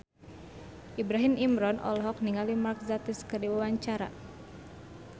Ibrahim Imran olohok ningali Mark Gatiss keur diwawancara